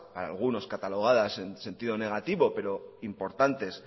para algunos catalogadas en sentido negativo pero importantes